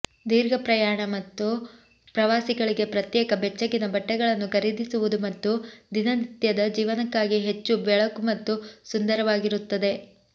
ದೀರ್ಘ ಪ್ರಯಾಣ ಮತ್ತು ಪ್ರವಾಸಗಳಿಗೆ ಪ್ರತ್ಯೇಕ ಬೆಚ್ಚಗಿನ ಬಟ್ಟೆಗಳನ್ನು ಖರೀದಿಸುವುದು ಮತ್ತು ದಿನನಿತ್ಯದ ಜೀವನಕ್ಕಾಗಿ ಹೆಚ್ಚು ಬೆಳಕು ಮತ್ತು ಸುಂದರವಾಗಿರುತ್ತದೆ